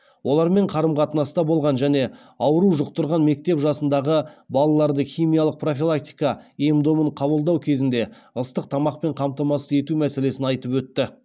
олармен қарым қатынаста болған және ауру жұқтырған мектеп жасындағы балаларды химиялық профилактика ем домын қабылдау кезінде ыстық тамақпен қамтамасыз ету мәселесін айтып өтті